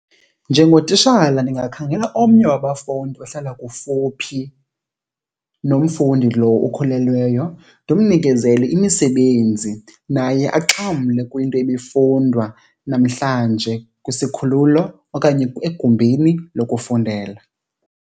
Njengotishala ndingakhangela omnye wabafundi ohlala kufuphi nomfundi lo ukhulelweyo ndimnikezele imisebenzi naye axhamle kwinto ebifundwa namhlanje kwisikhululo okanye egumbini lokufundela.